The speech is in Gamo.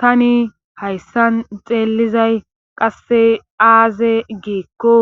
Tani hayssan xeelizay qasse aaze giikko